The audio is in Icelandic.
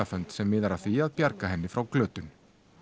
fund sem miðar að því að bjarga henni frá glötun